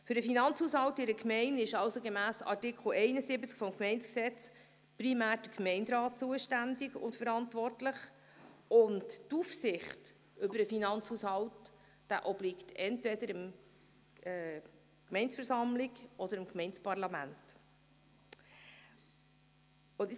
Für den Finanzhaushalt in einer Gemeinde ist also gemäss Artikel 71 des Gemeindegesetzes (GG) primär der Gemeinderat zuständig und verantwortlich, während die Aufsicht über den Finanzhaushalt entweder der Gemeindeversammlung oder dem Gemeindeparlament obliegt.